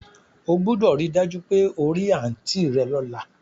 O gbúdọ̀ ri dájú pe o ri aunt rẹ lọ́la